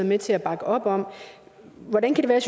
med til at bakke op hvordan kan det